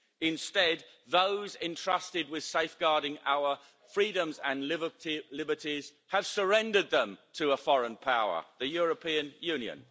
Instead, those entrusted with safeguarding our freedoms and liberties have surrendered them to a foreign power the European Union.